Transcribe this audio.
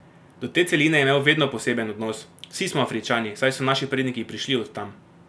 Do te celine je imel vedno poseben odnos: "Vsi smo Afričani, saj so naši predniki prišli od tam.